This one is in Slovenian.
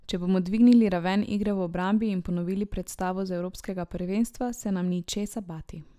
Če bomo dvignili raven igre v obrambi in ponovili predstavo z evropskega prvenstva, se nam ni česa bati.